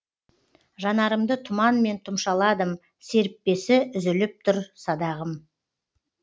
жанарымды тұманмен тұмшаладым серіппесі үзіліп тұр садағым